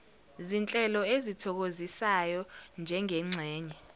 zinhlelo ezithokozisayo njengengxenye